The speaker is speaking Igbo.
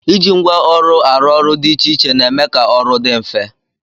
Iji ngwa ọrụ arụ ọrụ dị iche iche na-eme ka ọrụ dị mfe